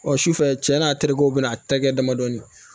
Ɔ sufɛ cɛ n'a terikɛw bɛ n'a terikɛ damadɔ